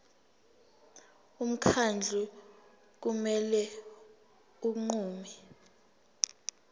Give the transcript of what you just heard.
umkhandlu kumele unqume